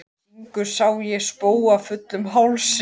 Syngur Sá ég spóa fullum hálsi.